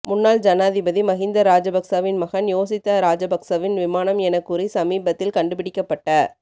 முன்னாள் ஜனாதிபதி மகிந்த ராஜபக்சவின் மகன் யோசித்த ராஜபக்ஷவின் விமானம் என கூறி சமீபத்தில் கண்டுபிடிக்கப்பட்ட